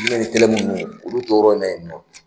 olu to yɔrɔ in na yen nɔ